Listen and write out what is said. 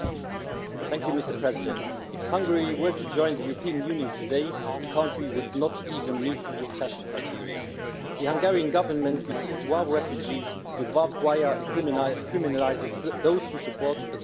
Mr President, if Hungary were to join the European Union today the country would not even meet the accession criteria. The Hungarian Government receives war refugees with barbed wire, and criminalises those who support asylum seekers.